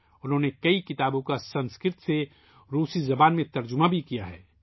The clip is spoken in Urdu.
انہوں نے سنسکرت سے روسی میں کئی کتابوں کا ترجمہ بھی کیا ہے